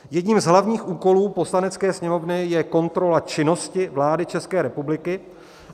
Jedním z hlavních úkolů Poslanecké sněmovny je kontrola činnosti vlády České republiky.